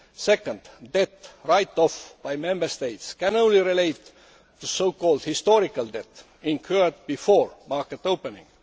Secondly, debt write off by Member States can only relate to so called historical debt incurred before market opening.